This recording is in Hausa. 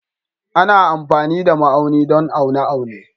Ana amfani da ma'auni don aune aune